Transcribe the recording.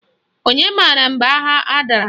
Onye mara mgbe agha a dara?